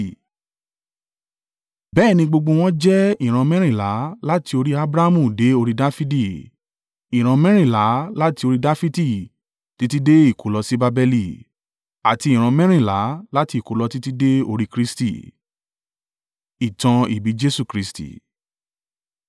Bẹ́ẹ̀ ni gbogbo wọ́n jẹ́ ìran mẹ́rìnlá láti orí Abrahamu dé orí Dafidi, ìran mẹ́rìnlá á láti orí Dafidi títí dé ìkólọ sí Babeli, àti ìran mẹ́rìnlá láti ìkólọ títí dé orí Kristi.